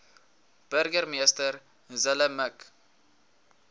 burgemeester zille mik